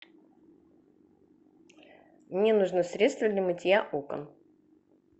мне нужно средство для мытья окон